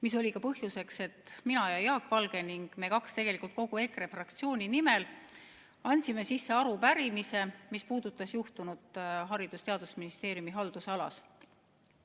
See oli ka põhjus, miks mina ja Jaak Valge küll kahekesi, aga tegelikult kogu EKRE fraktsiooni nimel andsime sisse arupärimise, mis puudutas juhtunut Haridus- ja Teadusministeeriumi haldusalas.